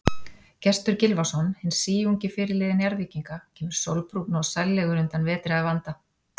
Gestur Gylfason, hinn síungi fyrirliði Njarðvíkinga, kemur sólbrúnn og sællegur undan vetri að vanda.